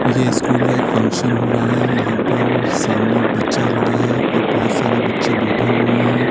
ये स्कूल है का एक फंक्शन हो रहा है यहाँ पर सामने एक बच्चा खड़ा है और बहोत सारे बच्चे बैठे हुए हैं।